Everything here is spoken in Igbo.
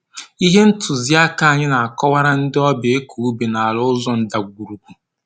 Ihe ntụzi aka anyị na-akọwara ndị ọbịa ịkọ ubi n'ala ụzọ ndagwurugwu